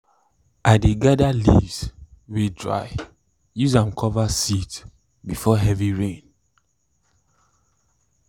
i dey gather leaves way dried use am cover seeds before heavy rain